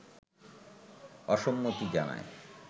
অসম্মতি জানায়